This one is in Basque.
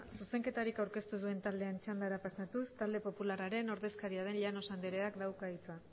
zuzenketarik aurkeztu duen taldeen txandara pasatuz talde popularraren ordezkaria den llanos andreak dauka hitza